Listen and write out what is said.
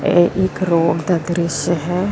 ਇਹ ਇੱਕ ਰੋਡ ਦਾ ਦ੍ਰਿਸ਼ਯ ਹੈ।